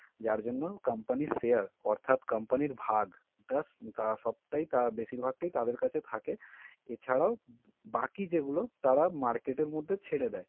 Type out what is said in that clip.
যার জন্য company র share অর্থাৎ company র ভাগ তা সবটাই বেশিরভাগটাই তাদের কাছে থাকে। এছাড়াও বাকি যেগুলো তারা market এর মধ্যে ছেড়ে দেয়।